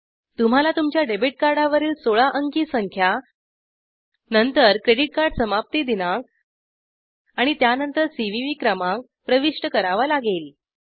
तुम्हाला तुमच्या डेबिट कार्डावरील १६ अंकी संख्या नंतर क्रेडिट कार्ड समाप्ती दिनांक आणि त्यानंतर सीवीवी क्रमांक प्रविष्ट करावा लागेल